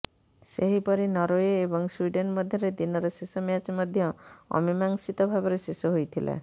ସେହିପରି ନରଓ୍ବ ଏବଂ ସ୍ବିଡେନ୍ ମଧ୍ୟରେ ଦିନର ଶେଷ ମ୍ୟାଚ୍ ମଧ୍ୟ ଅମୀମାଂସିତ ଭାବରେ ଶେଷ ହୋଇଥିଲା